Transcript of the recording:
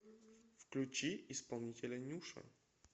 включи исполнителя нюша